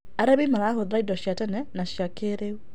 Arĩmĩ marahũthĩra ĩndo cĩa tene na cĩa kĩĩrĩũ